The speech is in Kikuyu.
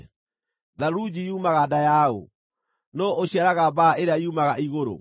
Tharunji yumaga nda ya ũ? Nũũ ũciaraga mbaa ĩrĩa yumaga igũrũ,